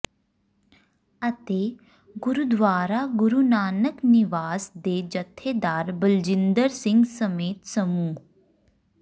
ਅਤੇ ਗੁਰਦੁਆਰਾ ਗੁਰੁ ਨਾਨਕ ਨਿਵਾਸ ਦੇ ਜਥੇਦਾਰ ਬਲਜਿੰਦਰ ਸਿੰਘ ਸਮੇਤ ਸਮੂਹ